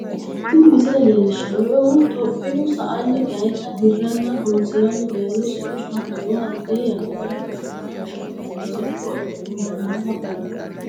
Tini misile leelishanohu tophiyuu sa'anni dayitta diranno horo'nsiranni dayiha sicco hattono hatee yanara gashitu gashhannonna siccu aana nooha malaate kulano